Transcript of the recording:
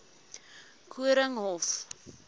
koornhof